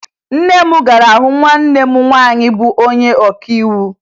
Nne m gara hụ nwanne m nwaanyị bụ onye ọkaiwu